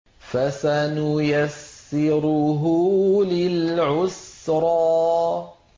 فَسَنُيَسِّرُهُ لِلْعُسْرَىٰ